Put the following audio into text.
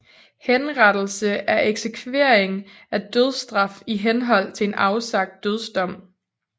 Henrettelse er eksekvering af dødsstraf i henhold til en afsagt dødsdom